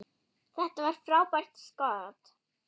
Þetta var frábært skot.